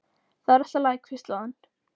Það er allt í lagi hvíslaði hann.